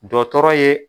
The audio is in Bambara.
Dɔtɔrɔ ye